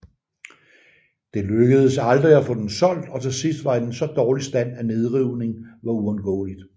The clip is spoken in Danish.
Det lykkedes aldrig at få den solgt og til sidst var den i så dårlig stand at nedrivning var uundgåeligt